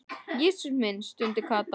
Jesús minn stundi Kata.